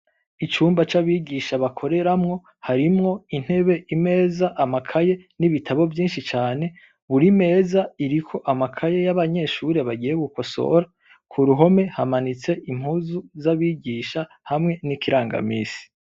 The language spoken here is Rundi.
Icumba c'abigisha bakoreramwo, harimwo intebe, imeze, amakaye, n'ibitabo vyinshi cane, buri meza iriko amakaye y'abanyeshure bagiye gukosora, ku ruhome hamanitse impuzu z'abigisha hamwe n'ikirangamisi.